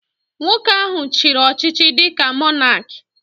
Nwoke ahụ chiri ọchịchị dịka Mọnak